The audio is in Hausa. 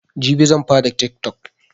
Jibi zanfara tiktok